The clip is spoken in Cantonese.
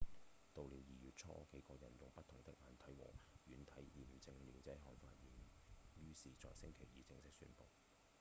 到了二月初幾個人用不同的硬體和軟體驗證了這項發現於是在星期二正式宣布